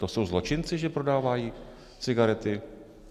To jsou zločinci, že prodávají cigarety?